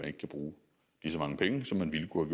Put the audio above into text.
ikke kan bruge lige så mange penge som man ville kunne